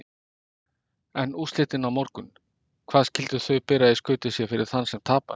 En úrslitin á morgun, hvað skyldu þau bera í skauti sér fyrir þann sem tapar?